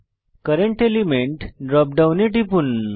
current element drop ডাউনে টিপুন